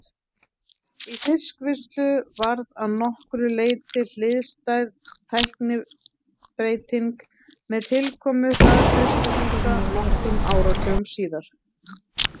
Í fiskvinnslu varð að nokkru leyti hliðstæð tæknibreyting með tilkomu hraðfrystihúsa nokkrum áratugum síðar.